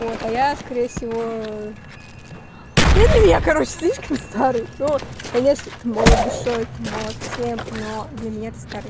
вот а я скорее всего ты для меня короче слишком старый но конечно ты молод душой ты молод всем но для меня ты старый